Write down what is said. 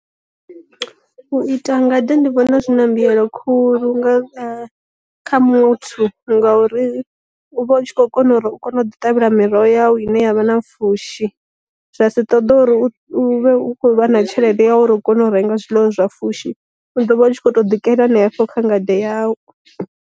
U ita ngade ndi vhona zwi na mbuyelo khulu nga kha muthu ngauri u vha u tshi kho kona u kona u ḓi ṱavhela miroho ya u ine yavha na pfushi, zwa si ṱoḓe uri hu vhe hu khou vha na tshelede ya uri u kone u renga zwiḽiwa zwa fushi, u ḓo vha u tshi kho to ḓikela hanefho kha ngade ya u.